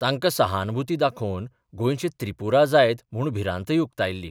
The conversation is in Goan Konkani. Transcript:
तांकां सहानभुती दाखोवन गोंयचें त्रिपुरा जायत म्हूण भिरांतय उक्तायल्ली.